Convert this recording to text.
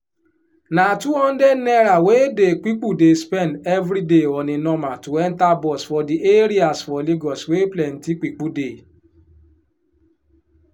na 200 naira wey dey pipu dey spend every day on a normal to enter bus for di areas for lagos wey plenty pipu dey